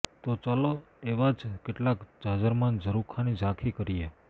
તો ચાલો એવા જ કેટલાક જાજરમાન ઝરૂખાની ઝાંખી કરીએ